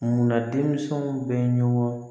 Munna denmisɛnw bɛ ɲɔgɔn